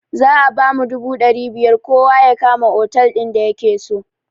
Za a bamu dubu ɗari biyar kowa ya kama otal din da yakeso